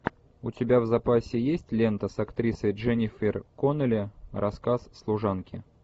у тебя в запасе есть лента с актрисой дженнифер коннелли рассказ служанки